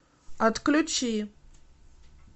отключи